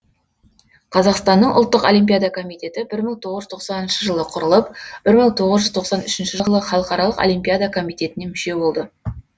қазақстанның ұлттық олимпиада комитеті бір мың тоғызз жүз тоқсаныншы жылы құрылып бір мың тоғыз жүз тоқсан үшінші жылы халықаралық олимпиада комитетіне мүше болды